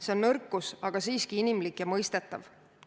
See on nõrkus, aga siiski inimlik ja mõistetav.